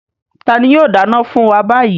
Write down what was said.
Tani yóò dáná fún wa báyìí?